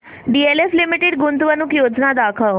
DLF limited गुंतवणूक योजना दाखव